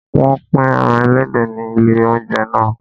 Wọn pín ẹran ẹlẹ́dẹ̀ nílé oúnjẹ naa